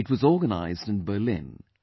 It was organized in Berlin